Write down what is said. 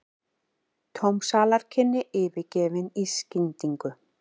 Tóm salarkynni yfirgefin í skyndingu.